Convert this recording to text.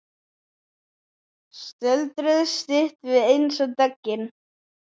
Stöldruðu stutt við eins og döggin.